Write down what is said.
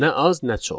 Nə az, nə çox.